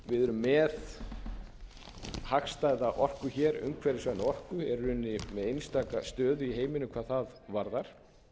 með hagstæða orku umhverfisvæna orku erum í rauninni með einstaka stöðu í heiminum hvað það varðar